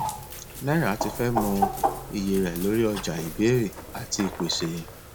náírà ti fẹ mọ iye rẹ lórí ọjà ìbéèrè àti ìpèsè